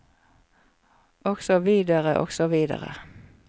Og så videre og så videre.